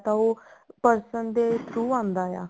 ਤਾਂ ਉਹ person ਦੇ through ਆਉਂਦਾ ਹੈ